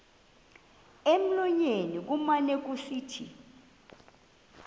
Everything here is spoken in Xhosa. emlonyeni kumane kusithi